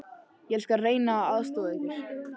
Ég skal reyna að aðstoða ykkur.